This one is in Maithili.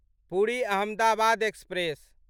पुरि अहमदाबाद एक्सप्रेस